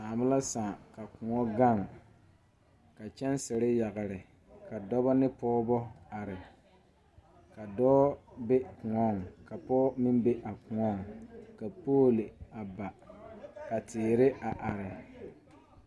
Sããmo la sãã ka kõɔ gaŋ ka kyɛnserre yagre ka dɔbɔ ne pɔɔbɔ are ka dɔɔ be kõɔŋ ka pɔɔ meŋ be a kõɔŋ ka poole a ba ka teere a are.